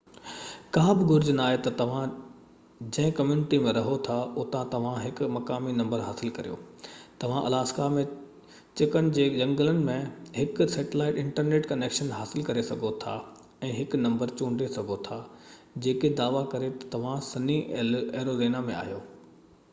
ڪا بہ گهرج ناهي تہ توهان جنهن ڪميونٽي ۾ رهو ٿا اتان توهان هڪ مقامي نمبر حصل ڪريو؛ توهان الاسڪا ۾ چڪن جي جهنگلن ۾ هڪ سيٽلائيٽ انٽرنيٽ ڪنيڪشن حاصل ڪري سگهو ٿا ۽ هڪ نمبر چونڊي سگهو ٿا جيڪو دعويٰ ڪري تہ توهان سني ايريزونا ۾ آهيو